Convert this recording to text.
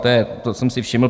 Toho jsem si všiml.